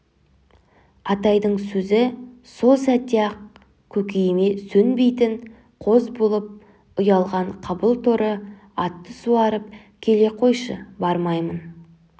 атайдың сөзі сол сәтте-ақ көкейіме сөнбейтін қоз болып ұялаған қабыл торы атты суарып келе қойшы бармаймын